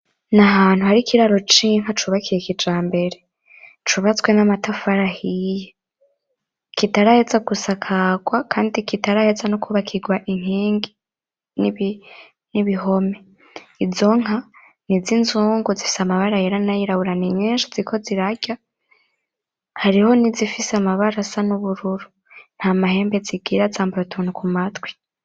N'ahantu hari Ikiraro c'inka cubakiye kijambere, cubatswe n'amatafari ahiye ,kitaraheza gusakarwa kandi kitaraheza no kubakirwa inkingi n'ibihome. Izo Nka niz'inzungu zifise amabara yera nay'irabura ni nyinshi ziriko zirarya hariho nizifise amabara asa n'ubururu, nt'amahembe zigira zambaye utuntu kumatwi.